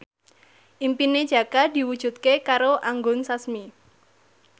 impine Jaka diwujudke karo Anggun Sasmi